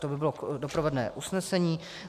To by bylo doprovodné usnesení.